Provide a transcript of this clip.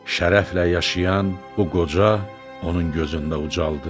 Şərəflə yaşayan bu qoca onun gözündə ucaldı.